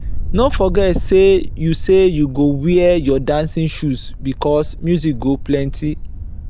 no forget sey you sey you go wear your dancing shoe bicos music go plenty.